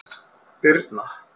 Birna